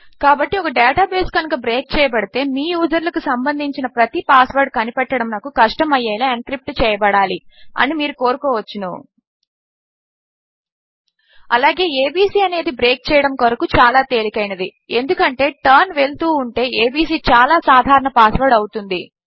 కాబట్టి ఒక database కనుక బ్రేక్ చేయబడితే మీ యూజర్ల కు సంబంధించిన ప్రతి పాస్ వర్డ్ కనిపెట్టడము నకు కష్టము అయ్యేలా ఎన్క్రిప్ట్ చేయబడాలి అని మీరు కోరుకోవచ్చును అలాగే ఏబీసీ అనేది బ్రేక్ చేయడము కొరకు చాలా తేలికైనది ఎందుకు అంటే టర్న్ వెళుతూ ఉంటే abcచాలా సాధారణ పాస్ వర్డ్ అవుతుంది